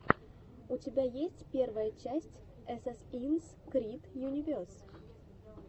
у тебя есть первая часть эсэсинс крид юнивес